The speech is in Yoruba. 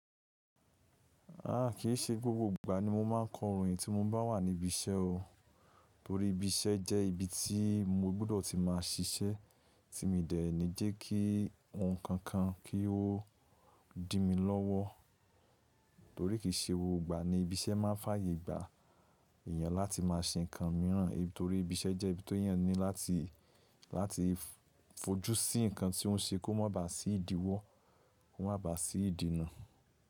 Aà, kì í ṣe gbogbo ìgbà ni mo máa ń kọ orin tí mo bá wà ní ibi iṣẹ́ o. Torí ibi iṣẹ́ jẹ́ ibi tí mo gbudo ti máa ṣiṣẹ́, tí mi dẹ̀ ní jẹ́ kí ohun kankan kí ó dì mi lọ́wọ́. Torí kì í ṣe gbogbo ìgbà ni ibi iṣẹ́ máa ń fàyè gba èèyàn láti máa ṣe ǹkan míràn. Torí ibi iṣẹ́ jẹ́ ibi te yàn ní láti, láti fojú sí ǹkan tí ó ń ṣe kó má ba à sí ìdíwọ́, kó má ba à sí ìdènà.